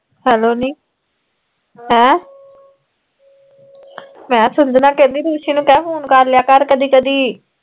hello ਨੀ ਅਹ ਹੈਂ ਮੈਂ ਕਿਹਾ ਸੰਜਨਾ ਕਹਿੰਦੀ ਰੁਸ਼ੀ ਨੂੰ ਕਹਿ ਫ਼ੋਨ ਕਰਲਿਆ ਕਰ ਕਦੀ ਕਦੀ